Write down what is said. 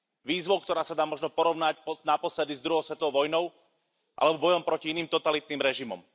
Výzvou, ktorá sa dá možno porovnať naposledy s druhou svetovou vojnou, alebo bojom proti iným totalitným režimom.